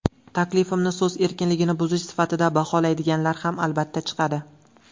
Taklifimni so‘z erkinligini buzish sifatida baholaydiganlar ham, albatta, chiqadi.